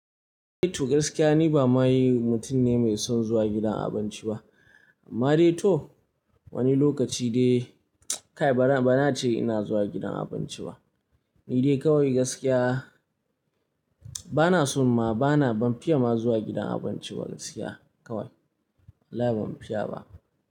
To gaskiya ni ba maye mutum ne mai son zuwa gidan abinci ba. Amma dai to wani lokaci dai kai bana, bana ce ina zuwa gidan abinci ba. Ni dai kawai gaskiya bana son ma bana ban fiya ma zuwa gidan abinci ba gaskiya kawai. Wallahi ban fiya ba.